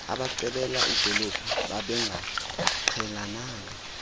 abacebela idolophu babengaqhelananga